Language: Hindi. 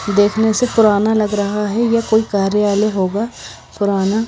देखने से फराना लग रहा है या कोई कार्यालय होगा फराना --